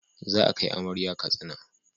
Za a kai amarya Katsina